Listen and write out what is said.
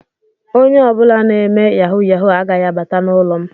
Onye ọ bụla na-eme yahu yahu agaghị abata n'ụlọ m.